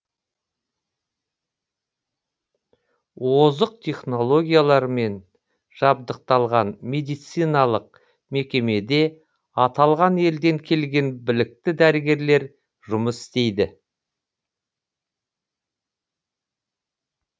озық технологиялармен жабдықталған медициналық мекемеде аталған елден келген білікті дәрігерлер жұмыс істейді